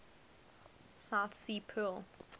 south sea pearl